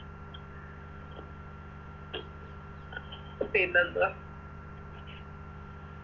പിന്നെന്തുവാ